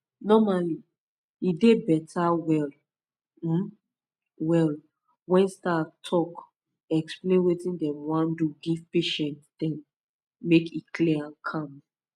normally e dey beta well um well when staff talk explain wetin them wan do give patient dem make e clear and calm